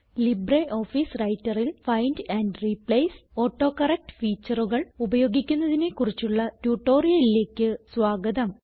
LibreOffice Writerൽ find and replace autocorrect faetureകൾ ഉപയോഗിക്കുന്നതിനെ കുറിച്ചുള്ള ട്യൂട്ടോറിയലിലേക്ക് സ്വാഗതം